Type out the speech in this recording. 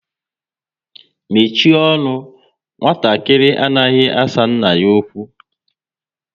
Mechie ọnụ! Nwatakịrị anaghị asa nna ya okwu